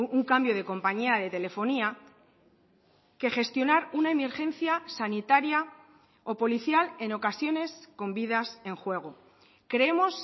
un cambio de compañía de telefonía que gestionar una emergencia sanitaria o policial en ocasiones con vidas en juego creemos